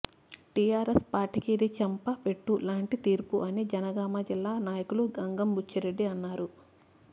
TRS పార్టీకి ఇది చెంపపెట్టు లాంటి తీర్పు అని జనగామ జిల్లా నాయకులు గంగం బుచ్చిరెడ్డి అన్నారు